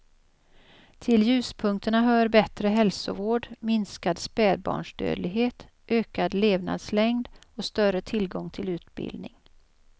Till ljuspunkterna hör bättre hälsovård, minskad spädbarnsdödlighet, ökad levnadslängd och större tillgång till utbildning.